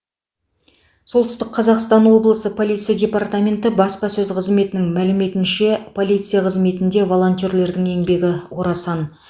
солтүстік қазақстан облысы полиция департаменті баспасөз қызметінің мәліметінше полиция қызметінде волонтерлердің еңбегі орасан